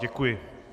Děkuji.